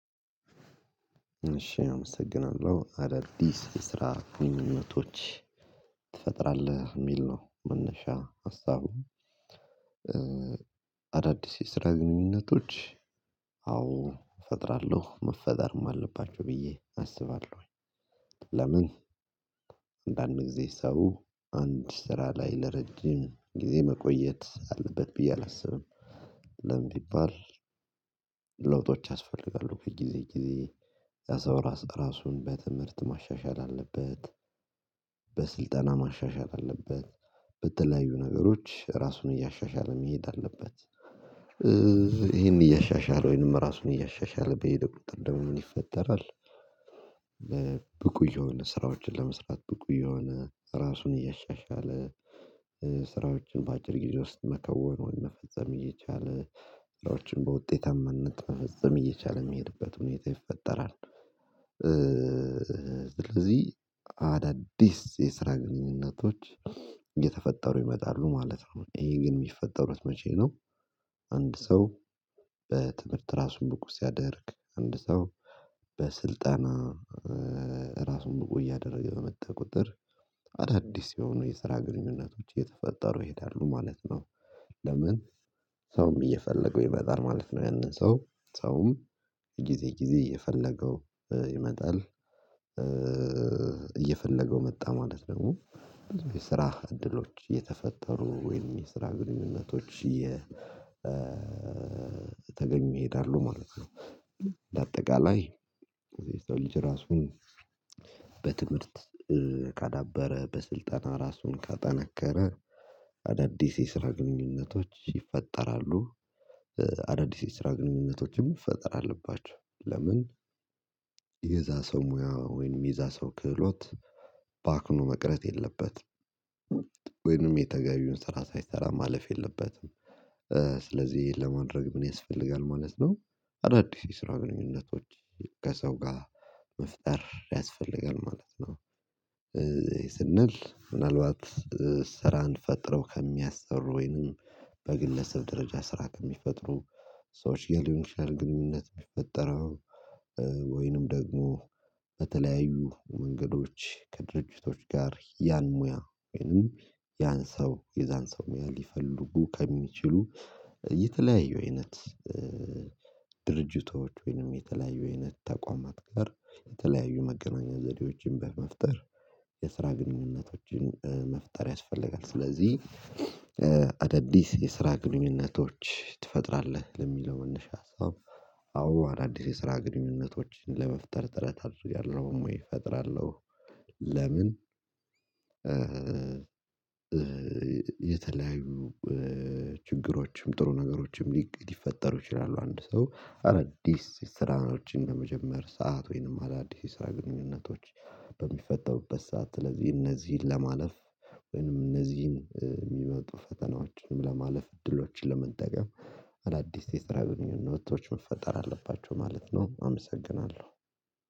እሺ አመሰግናለሁ አዳዲስ የስራ ግንኙነቶች ትፈጥራለህ የሚል ነው መነሻ ሀሳቡ አዳዲስ የስራ ግንኙነቶች አዎ እፈጥራለሁ መፈጠርም አለባቸው ብዬ አስባለሁኝ። ለምን አንዳንድ ጊዜ ሰው አንድ ስራ ላይ ለረጅም ጊዜ መቆየት አለበት ብዬ አላስብም። ለምን ቢባል ለውጦች ያስፈልጋሉ ከጊዜ ጊዜ ያ ሰው እራሱን በትምህርት ማሻሻል አለበት። በስልጠና ማሻሻል አለበት በተለያዩ ነገሮች ራሱን እያሻሻለ መሄድ አለበት። ይሄን እያሻሻለ ወይንም ራሱን እያሻሻለ በሄደ ቁጥር ደሞ ምን ይፈጠራል? ብቁ እየሆነ ስራዎችን ለመስራት ብቁ እየሆነ ራሱን እያሻሻለ ስራዎችን በአጭር ጊዜ ውስጥ መከወኑን መፈጸም እየቻለ ስራዎችን በውጤታማነት መፈጸም እየቻለ የሚሄድበት ሁኔታ ይፈጠራል። ስለዚህ አዳዲስ የስራ ግንኙነቶች እየተፈጠሩ ይመጣሉ ማለት ነው። ይሄ ግን የሚፈጠሩት መቼ ነው? አንድ ሰው በትምህርት ራሱን ብቁ ሲያደርግ አንድ ሰው በስልጠና ራሱን ብቁ እያደረገ በመጣ ቁጥር አዳዲስ የሆኑ የስራ ግንኙነቶች እየተፈጠሩ ይሄዳሉ ማለት ነው። ለምን ሰውም እየፈለገው ይመጣል ማለት ነው። ያንን ሰው ሰውም ጊዜ ጊዜ እየፈለገው ይመጣል እየፈለገው መጣ ማለት ደግሞ የስራ እድሎች የተፈጠሩ ወይም የስራ ግንኙነቶች እየተገኙ ይሄዳሉ ማለት ነው። በአጠቃላይ የሰው ልጅ ራሱን በትምህርት ካዳበረ በስልጠና ራሱን ካጠነከረ አዳዲስ የስራ ግንኙነቶች ይፈጠራሉ። አዳዲስ የስራ ግንኙነቶችም መፈጠር አለባቸው። ለምን የዛ ሰው ሙያ ወይንም የዛ ሰው ክህሎት ባክኖ መቅረት የለበትም። ወይንም የተገቢውን ስራ ሳይሰራ ማለፍ የለበትም። ስለዚህ ለማድረግ ምን ያስፈልጋል ማለት ነው? አዳዲስ የስራ ግንኙነቶች ከሰው ጋር መፍጠር ያስፈልጋል ማለት ነው። ስንል ምናልባት ስራን ፈጥረው ከሚያሰሩ ወይንም በግለሰብ ደረጃ ስራ ከሚፈጥሩ ሰዎች ጋር ሊሆን ይችላል። ግንኙነት የሚፈጠረው ወይንም ደግሞ በተለያዩ መንገዶች ከድርጅቶች ጋር ያን ሙያ ወይንም ያን ሰው የዛን ሰው ሙያ ሊፈልጉ ከሚችሉ የተለያዩ አይነት ድርጅቶች ወይንም የተለያዩ አይነት ተቋማት ጋር የተለያዩ መገናኛ ዘዴዎችን በመፍጠር መፍጠር የስራ ግንኙነቶችን መፍጠር ያስፈልጋል። ስለዚህ አዳዲስ የስራ ግንኙነቶች ትፈጥራለህ? ለሚለው መነሻ ሀሳብ አዎ አዳዲስ የስራ ግንኙነቶችን ለመፍጠር ጥረት አድርጋለሁ ወይ እፈጥራለሁ። ለምን የተለያዩ ችግሮችም ጥሩ ነገሮችም ሊፈጠሩ ይችላሉ። አንድ ሰው አዳዲስ ስራዎችን በመጀመር ሰዓት ወይንም አዳዲስ የስራ ግንኙነቶች በሚፈጠሩበት ሰዓት ስለዚህ እነዚህን ለማለፍ ወይንም እነዚህን የሚመጡ ፈተናዎችንም ለማለፍ እድሎችን ለመጠቀም አዳዲስ የስራ ግንኙነቶች መፈጠር አለባቸው ማለት ነው። አመሰግናለሁ